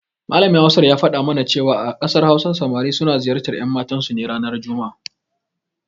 Malamin Hausar ya faɗa mana cewa a ƙasar Hausa samari suna ziyartar ƴanmatansu ne ranar juma'a.